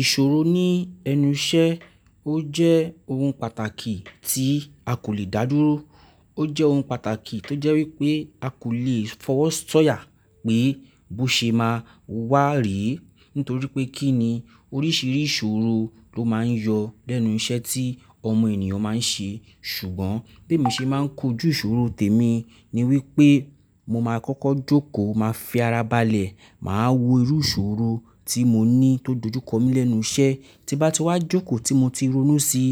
Ìṣòro ní ẹnu iṣẹ́ ó jẹ́ ohun pàtàkì tí a kò lè dá dúró. Ó jẹ́ ohun pàtàkì tó jẹ́ wípé a kò lè fọwọ́ sọ́ya pé bó ṣe máa wá re, nítorí pé kí ni oríṣiríṣi ìṣòro ló máa ń yọ lẹ́nu iṣẹ́ tí ọmọ ènìyàn máa ń ṣe. Ṣùgbọ́n bí mo ṣe máa ń kojú ìṣòro tèmi ni wípé mo máa kọ́kọ́ jókòó, màá fi ara balẹ̀, màá wo irú ìṣòro tí mo ní tó dojú kọ mí lẹ́nu iṣẹ́. Tí bá ti wá jókòó tí mo ti ronú sí,